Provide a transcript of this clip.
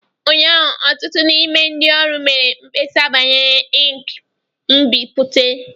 Ụnyaahụ, ọtụtụ n'ime ndị ọrụ mere mkpesa banyere ink nbipute